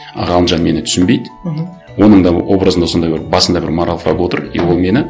ы ғалымжан мені түсінбейді мхм оның да образында сондай бір басында бір моралфаг отыр и ол мені